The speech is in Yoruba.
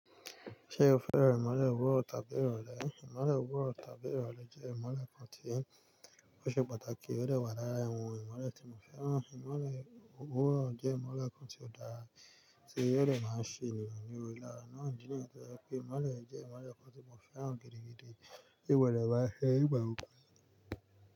Ṣé o fẹ́ràn ìmọ̀lẹ̀ òwúrọ̀ tàbí ìrọ̀lẹ́? Ìmọ̀lẹ̀ òwúrọ̀ tàbí ìrọ̀lẹ́ jẹ́ ìmọ̀lẹ̀ kan tí ó ṣe pàtàkì, ó dewà lára awọn ìmọ̀lẹ̀ tí mo fẹ́ràn. Ìmọ̀lẹ̀ òwúrọ̀ jẹ́ ìmọ̀lẹ̀ kan tí ó dára tí ó dẹ máa ń ṣe ènìyàn ní òrìṣiríṣi ìlera. Nà án jí nìyẹn tó jẹ́ pé ìmọ̀lẹ̀ jẹ́ ìmọ̀lẹ̀ kan tí mo fẹ́ràn gidi, gidi tí ó dọ̀ máa fẹ́ ìgbà òkú.